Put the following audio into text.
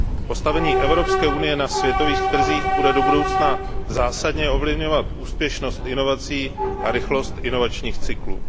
Postavení Evropské unie na světových trzích bude do budoucna zásadně ovlivňovat úspěšnost inovací a rychlost inovačních cyklů.